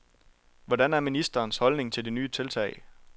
Hvordan er ministerens holdning til det nye tiltag.